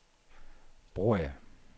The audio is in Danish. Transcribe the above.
Broager